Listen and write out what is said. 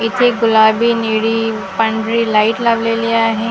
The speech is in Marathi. इथे गुलाबी निळी पांढरी लाईट लावलेली आहे .